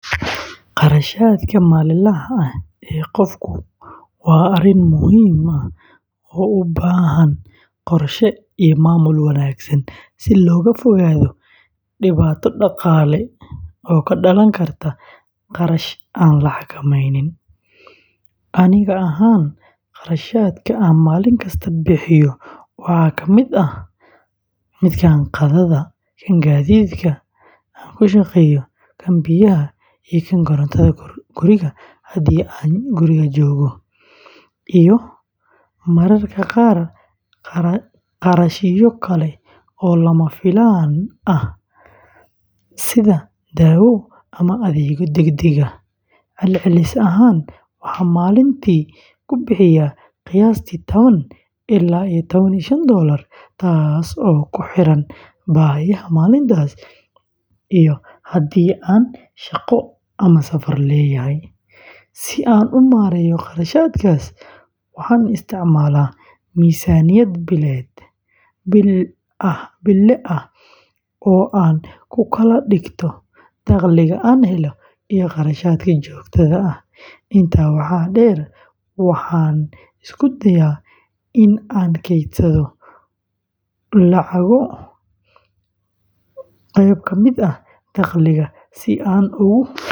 Kharashaadka maalinlaha ah ee qofku waa arrin muhiim ah oo u baahan qorshe iyo maamul wanaagsan si looga fogaado dhibaato dhaqaale oo ka dhalan karta kharash aan la xakameynin. Aniga ahaan, kharashaadka aan maalin kasta bixiyo waxaa ka mid ah qadada, gaadiidka aan ku shaqeeyo, biyaha iyo korontada guriga haddii aan joogo, iyo mararka qaar kharashyo kale oo lama filaan ah sida dawo ama adeegyo degdeg ah. Celcelis ahaan, waxaan maalintii ku bixiyaa qiyaastii tawan ilaa tawan iyo shaan oo dollar, taas oo ku xiran baahiyaha maalintaas iyo haddii aan shaqo ama safar leeyahay. Si aan u maareeyo kharashaadkaas, waxaan isticmaalaa miisaaniyad bille ah oo aan ku kala dhigto dakhliga aan helo iyo kharashaadka joogtada ah. Intaa waxaa dheer, waxaan isku dayaa in aan kaydsado dakhliga.